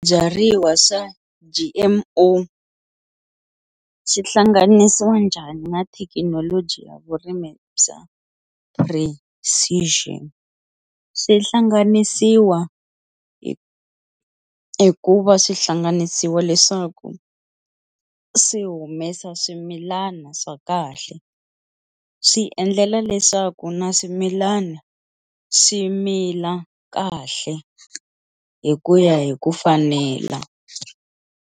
Swibyariwa swa G_M_O swi hlanganisiwa njhani na thekinoloji ya vurimi bya precision, swi hlanganisiwa hi hi ku va swi hlanganisiwa leswaku swi humesa swimilana swa kahle swi endlela leswaku na swimilana swi mila kahle hi ku ya hi ku fanela.